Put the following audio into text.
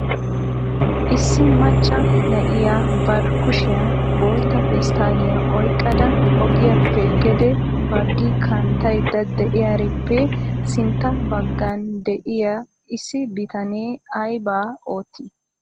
issi macca na'iyaa bari kushiyan bootta pesttaaliya oyqqada ogiyappe gede baggi kanttaydda diyaarippe sintta baggan de'iyaa issi bitanee aybba oottii?